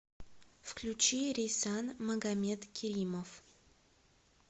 включи рейсан магомедкеримов